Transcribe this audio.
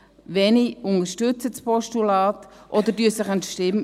Wenige unterstützen das Postulat oder enthalten sich der Stimme.